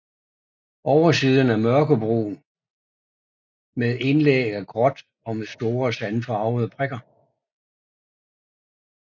Oversiden er mørkebrun med indlæg af gråt og med store sandfarvede prikker